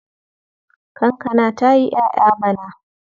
Kankana ta yi ƴaƴa bana.